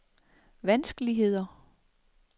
vanskeligheder